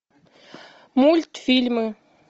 мультфильмы